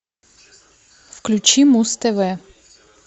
включи муз тв